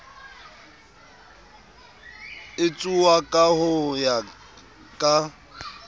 etsuwa ka ho ya ka